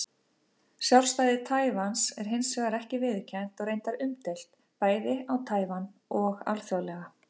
Sjálfstæði Taívans er hins vegar ekki viðurkennt og reyndar umdeilt, bæði á Taívan og alþjóðlega.